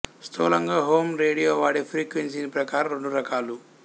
స్థూలంగా ham radio వాడే frequency ప్రకారం రెండు రకాలు